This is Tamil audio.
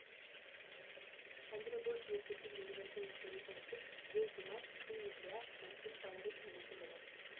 சந்திரபோஸ் இயக்கத்தில் வெளிவந்த இத்திரைப்படத்தில் விஜயகுமார் ஸ்ரீவித்யா மற்றும் பலரும் நடித்துள்ளனர்